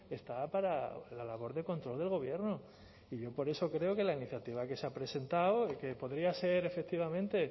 está para la labor de control del gobierno y yo por eso creo que la iniciativa que se ha presentado que podría ser efectivamente